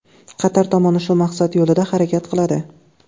Qatar tomoni shu maqsad yo‘lida harakat qiladi.